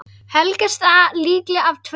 Helgast það líklega af tvennu.